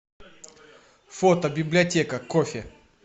фото библиотека кофе